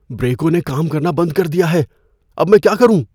بریکوں نے کام کرنا بند کر دیا ہے۔ اب میں کیا کروں؟